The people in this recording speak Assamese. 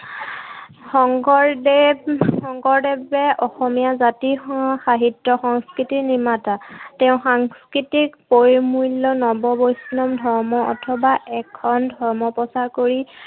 শংকৰদেৱ শংকৰদেৱে অসমীয়া জাতি, সাহিত্য় সংস্কৃতিৰ নিৰ্মাতা। তেওঁ সাংস্কৃতিক পৰিমূল্য় নৱবৈষ্ণৱ ধৰ্ম অথবা একশৰণ ধৰ্ম প্ৰচাৰ কৰি